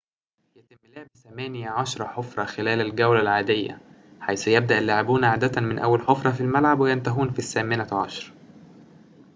يتم لعب ثماني عشرة حفرةٍ خلال الجولة العادية حيث يبدأ اللاعبون عادةً من أول حفرة في الملعب وينتهون في الثامنة عشرة